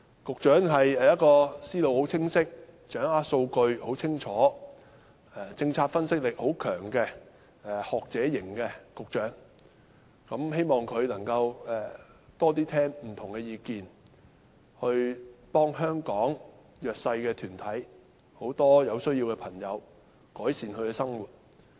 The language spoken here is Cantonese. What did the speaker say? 局長是一位思路非常清晰、清楚掌握數據，以及政策分析力很強的學者型局長，希望他能聆聽更多不同的意見，協助香港弱勢社群及眾多有需要的人士改善生活。